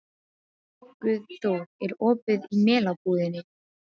Guðþór, er opið í Melabúðinni?